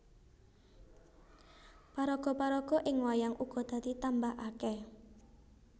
Paraga paraga ing wayang uga dadi tambah akèh